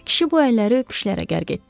Kişi bu əlləri öpüşlərə qərq etdi.